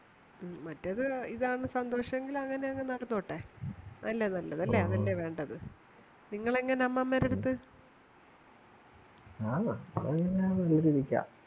മറ്റത് ഇതാണ് സന്തോഷങ്കിൽ അങ്ങനെതന്നെ നടന്നോട്ടെ അതല്ലേ നല്ലത് അങ്ങനല്ലേ വേണ്ടത് നിങ്ങളെങ്ങനെ അമ്മാമ്മേടടുത്തു